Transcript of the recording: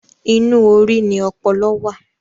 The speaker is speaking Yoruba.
Inú orí ni ọpọlọ wà.